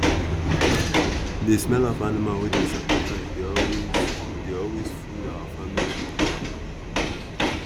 the smell of the animal wey dem sacrifice dey always dey always full our family compound.